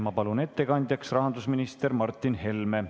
Ma palun ettekandjaks rahandusminister Martin Helme.